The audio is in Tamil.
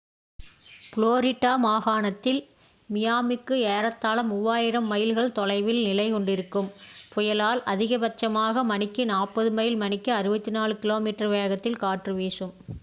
ஃபளோரிடா மாகாணத்தில் மியாமிக்கு ஏறத்தாழ 3000 மைல்கள் தொலைவில் நிலை கொண்டிருக்கும் புயலால் அதிக பட்சமாக மணிக்கு 40 மைல் மணிக்கு 64 கி.மீ வேகத்தில் காற்று வீசும்